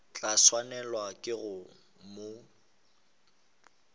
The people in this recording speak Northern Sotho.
tla swanelwa ke go mo